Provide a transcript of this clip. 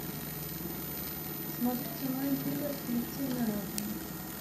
смотреть онлайн триллер коллективный разум